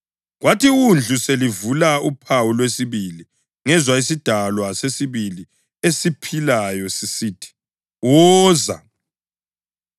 Kwathi iWundlu selivula uphawu lwesibili, ngezwa isidalwa sesibili esiphilayo sisithi, “Woza!”